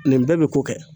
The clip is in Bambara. Nin bɛɛ bɛ ko kɛ